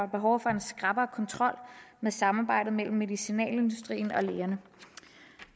behov for en skrappere kontrol af samarbejdet mellem medicinalindustrien og lægerne